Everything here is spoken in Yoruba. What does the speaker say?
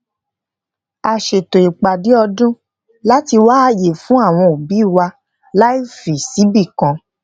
a ṣètò ipade odun lati wa aaye fun àwọn obi wa lai fi sibi kan